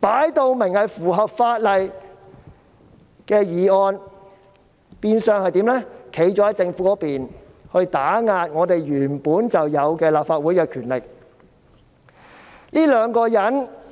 分明符合法例的修正案，變相站在政府的一方，打壓立法會原有的權力。